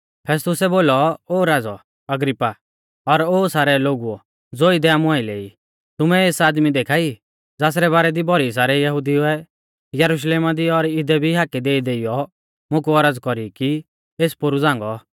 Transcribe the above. फेस्तुसै बोलौ ओ राज़ौ अग्रिप्पा और ओ सारै लोगुओ ज़ो इदै आमु आइलै ई तुमै एस आदमी देखा ई ज़ासरै बारै दी भौरी सारै यहुदिउऐ यरुशलेमा दी और इदै भी हाकै देईदेइयौ मुकु औरज़ कौरी कि एस पोरु झ़ांगौ